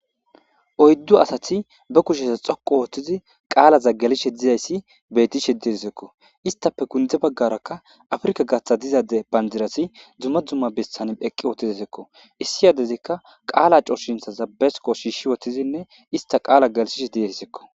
oyddu asati ba kusheta xoqu ooththizi qaala zagalish dizayssi betishe disekko istape kundze baggaraka afrika gaththa dizade banjirasi dzumma dzumma bistan eqqi ootidesekko issi yadezikka qaala cooshinthaza besiko shiishshi woththizinne ista qaala galshishe diyesekko